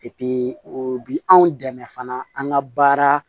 o bi anw dɛmɛ fana an ka baara